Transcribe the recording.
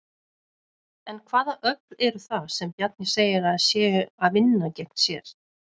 En hvaða öfl eru það sem Bjarni segir að séu að vinna gegn sér?